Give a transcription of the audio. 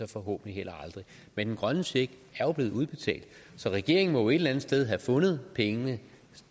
forhåbentlig heller aldrig men den grønne check er jo blevet udbetalt så regeringen må et eller andet sted havde fundet pengene